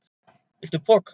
Viltu poka?